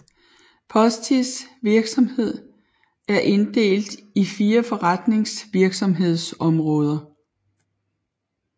Postis virksomhed er inddelt i fire forretningsvirksomhedsområder